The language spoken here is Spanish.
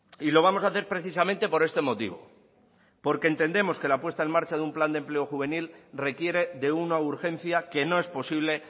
y lo vamos a hacer precisamente por este motivo porque entendemos que la puesta en marcha de un plan de empleo juvenil requiere de una urgencia que no es posible